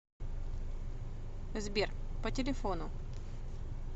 сбер по телефону